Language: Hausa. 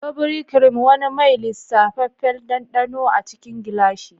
Ivory Cream: wani mai lisafeffen dandano a cikin gilashi.